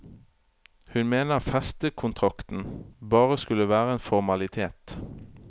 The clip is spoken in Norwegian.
Hun mener festekontrakten bare skulle være en formalitet.